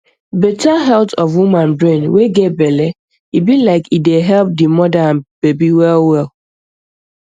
better health of woman brain wey get belle e be like e dey help di moda and baby well well